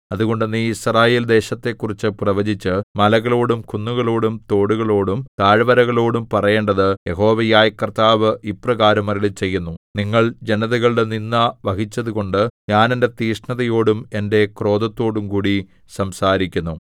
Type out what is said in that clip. അതുകൊണ്ട് നീ യിസ്രായേൽ ദേശത്തെക്കുറിച്ചു പ്രവചിച്ച് മലകളോടും കുന്നുകളോടും തോടുകളോടും താഴ്വരകളോടും പറയേണ്ടത് യഹോവയായ കർത്താവ് ഇപ്രകാരം അരുളിച്ചെയ്യുന്നു നിങ്ങൾ ജനതകളുടെ നിന്ദ വഹിച്ചതുകൊണ്ട് ഞാൻ എന്റെ തീക്ഷ്ണതയോടും എന്റെ ക്രോധത്തോടുംകൂടി സംസാരിക്കുന്നു